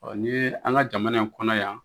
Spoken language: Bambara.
Ɔn ni an ka jamana in kɔnɔ yan